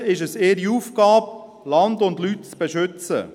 Schliesslich ist es deren Aufgabe, Land und Leute zu beschützen.